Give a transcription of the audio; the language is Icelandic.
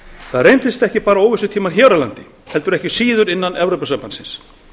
það reyndust ekki bara óvissutímar hér á landi heldur ekki síður innan evrópusambandsins